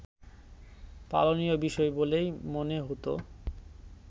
পালনীয় বিষয় বলেই মনে হতো